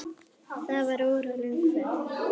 Þetta var óralöng ferð.